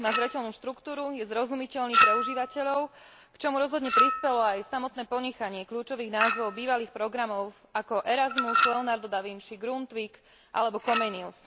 Má zreteľnú štruktúru, je zrozumiteľný pre užívateľov, k čomu rozhodne prispelo aj samotné ponechanie kľúčových názvov bývalých programov ako Erasmus, Leonardo da Vinci, Grundtvig alebo Comenius.